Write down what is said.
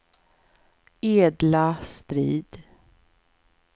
Edla Strid